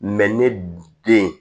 ne den